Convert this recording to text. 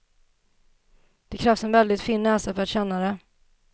Det krävs en väldigt fin näsa för att känna det.